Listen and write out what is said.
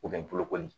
U bɛ n bolokoli